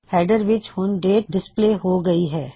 header ਵਿੱਚ ਹੁਣ date display ਹੋ ਗਈ ਹੈ